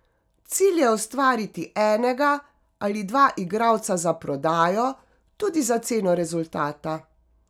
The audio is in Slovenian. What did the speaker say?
Cilj je ustvariti enega ali dva igralca za prodajo, tudi za ceno rezultata.